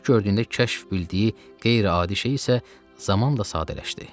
İlk gördüyündə kəşf bildiyi qeyri-adi şey isə zaman da sadələşdi.